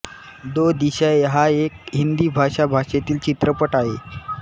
दो दिशायें हा एक हिंदी भाषा भाषेतील चित्रपट आहे